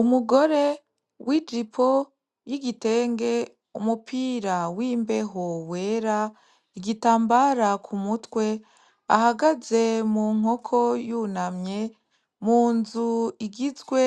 Umugore w'ijipo y'igitenge, umupira w'imbeho wera, igitambara k'umutwe, ahagaze mu nkoko yunamye, munzu igizwe